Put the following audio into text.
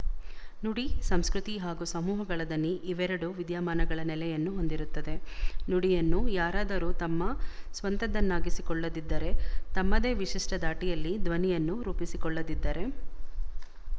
ನುಡಿ ಸಂಸ್ಕೃತಿ ಹಾಗೂ ಸಮೂಹಗಳ ದನಿ ಇವೆರಡೂ ವಿದ್ಯಮಾನಗಳ ನೆಲೆಯನ್ನು ಹೊಂದಿರುತ್ತದೆ ನುಡಿಯನ್ನು ಯಾರಾದರೂ ತಮ್ಮ ಸ್ವಂತದನ್ನಾಗಿಸಿಕೊಳ್ಳದಿದ್ದರೆ ತಮ್ಮದೇ ವಿಶಿಷ್ಟ ದಾಟಿಯಲ್ಲಿ ದ್ವನಿಯನ್ನು ರೂಪಿಸಿಕೊಳ್ಳದಿದ್ದರೆ